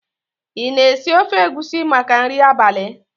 ị na-esi ofe egusi maka nri abalị?